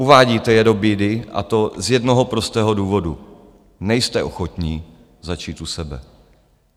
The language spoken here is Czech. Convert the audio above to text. Uvádíte je do bídy, a to z jednoho prostého důvodu: nejste ochotní začít u sebe.